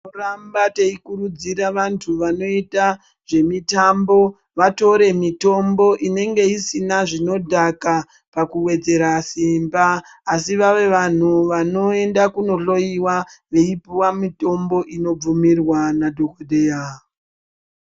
Tinoramba teikurudzira vantu vanoita zvemitambo vatore mitombo inenge isina zvinodhaka pakuwedzera simba asi vave vanhu vanoenda kunohloiwa veipuwa mitombo inobvumirwa nadhogodheya.